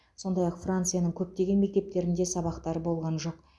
сондай ақ францияның көптеген мектептерінде сабақтар болған жоқ